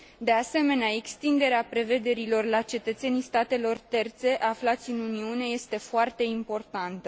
De asemenea, extinderea prevederilor la cetățenii statelor terțe aflați în Uniune este foarte importantă.